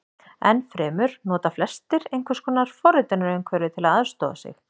Enn fremur nota flestir einhvers konar forritunarumhverfi til að aðstoða sig.